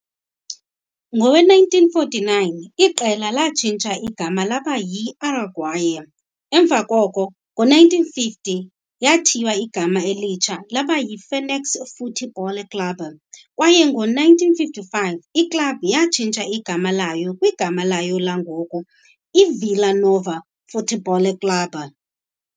Ngowe-1949 iqela latshintsha igama laba yiAraguaia, emva koko ngo-1950 yathiywa igama elitsha yaba yiFênix Futebol Clube kwaye ngo-1955 iklabhu yatshintsha igama layo kwigama layo langoku, iVila Nova Futebol Clube.